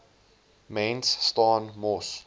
mens staan mos